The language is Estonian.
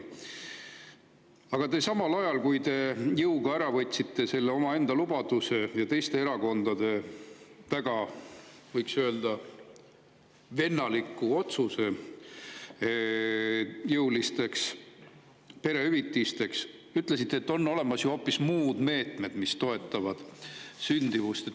Aga samal ajal kui te jõuga omaenda lubaduse ja teiste erakondade väga – võiks öelda – vennaliku jõuliste perehüvitiste otsuse, ütlesite, et on ju olemas hoopis muud meetmed, mis toetavad sündimust.